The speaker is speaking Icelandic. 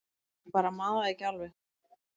Ég bara man það ekki alveg